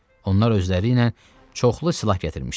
Onlar özləri ilə çoxlu silah gətirmişdilər.